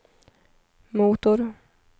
motor